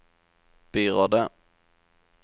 byrådet